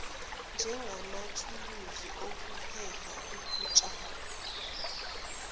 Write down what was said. njengamathuluzi okuheha ukutshalwa